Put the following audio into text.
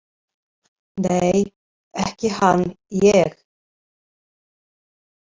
Nei, ekki hann ég.